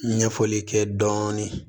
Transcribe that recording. Ɲɛfɔli kɛ dɔɔnin